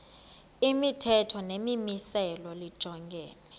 imithetho nemimiselo lijongene